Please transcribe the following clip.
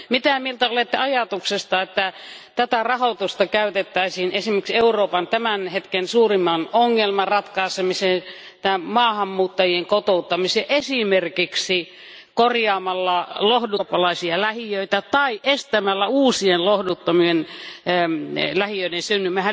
Mitä mieltä olette ajatuksesta, että tätä rahoitusta käytettäisiin esimerkiksi Euroopan tämän hetken suurimman ongelman ratkaisemiseen maahanmuuttajien kotouttamiseen esimerkiksi korjaamalla lohduttomia eurooppalaisia lähiöitä tai estämällä uusien lohduttomien lähiöiden synty?